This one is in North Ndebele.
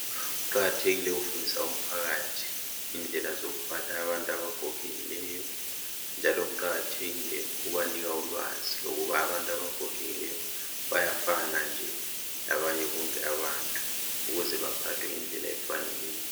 Kuqakathekile ukufundisa umphakathi indlela zokuphatha abantu abagogekileyo njalo kuqakathekile ukubanika ulwazi lokuba abantu abagogekileyo bayafana nje labanye bonke abantu ukuze baphathwe ngendlela efaneleyo.